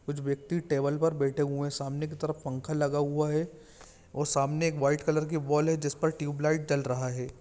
कुछ वक्ति टेबल पर बैठे हुए है सामने की तरफ पंखा लगा हुआ है और सामने एक व्हाइट कॉलर की बाल हैजिस पर ट्विलाइट जल रहा है।